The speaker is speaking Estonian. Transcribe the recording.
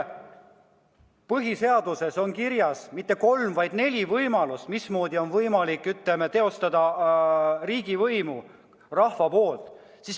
Põhiseaduses on kirjas mitte kolm, vaid neli võimalust, mismoodi on võimalik teostada riigivõimu rahva poolt.